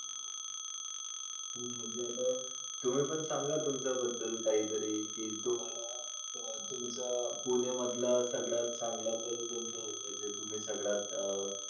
म्हणजे आता तुम्ही पण सागा तुमचा बद्दल काही तरी ची तुम्हाला अह तुमचं अह पुणे मधलं सगळ्यात चांगला पल कोण होतं ते तुम्ही सगळ्यात अह